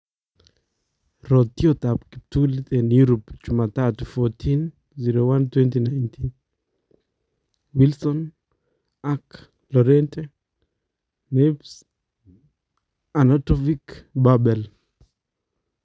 Rotyootab kiptuliit en Europe chumatatu 14.01.2019: Wilson, Ake , Llorente, Neves, Arnautovic ,Babel